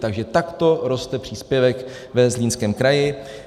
Takže takto roste příspěvek ve Zlínském kraji.